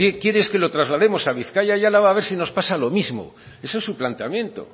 quiere es que lo traslademos a bizkaia y álava a ver si nos pasa lo mismo eso es su planteamiento